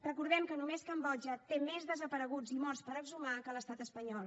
recordem que només cambodja té més desapareguts i morts per exhumar que l’estat espanyol